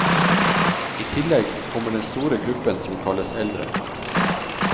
I tillegg kommer den store gruppen som kalles eldre.